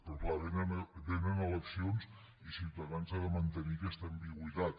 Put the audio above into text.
però clar vénen eleccions i ciutadans ha de mantenir aquesta ambigüitat